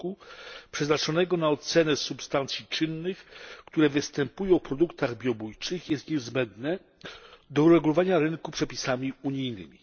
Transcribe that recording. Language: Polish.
r., przeznaczonego na ocenę substancji czynnych, które występują w produktach biobójczych, jest niezbędne do uregulowania rynku przepisami unijnymi.